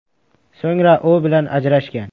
So‘ngra u bilan ajrashgan.